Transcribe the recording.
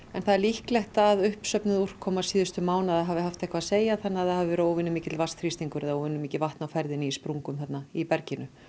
en það er líklegt að uppsöfnuð úrkoma síðustu mánaða hafi haft eitthvað að segja þannig að það hafi verið óvenjumikill vatnsþrýstingur eða óvenjumikið vatn í sprungum í berginu